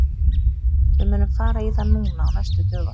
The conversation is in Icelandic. Við munum fara í það núna á næstu dögum.